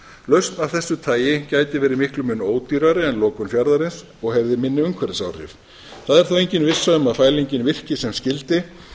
lausn af þessu tagi gæti verið miklum mun ódýrari en lokun fjarðarins og hefði minni umhverfisáhrif það er þó engin vissa um að fælingin virki sem skyldi en unnið er